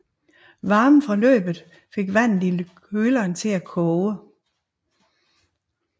Varmen fra løbet fik vandet i køleren til at koge